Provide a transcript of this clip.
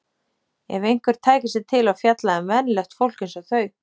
Ef einhver tæki sig til og fjallaði um venjulegt fólk eins og þau!